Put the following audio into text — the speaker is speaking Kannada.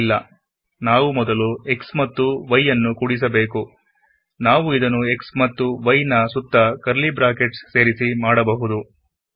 ಇಲ್ಲನಾವು ಮೊದಲು x ಮತ್ತು y ನ್ನು ಕೂಡಿಸಬೇಕುಇದನ್ನು x ಮತ್ತು y ನ ಸುತ್ತ ಕರ್ಲೀ ಬ್ರಾಕೆಟ್ ಬಳಸಿ ಕೂಡ ಬರೆಯಬಹುದು